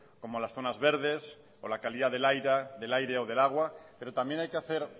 como las zonas verdes o la calidad del aire o del agua pero también hay que hacer